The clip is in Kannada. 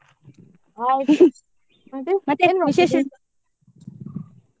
ಹಾಗೆ ?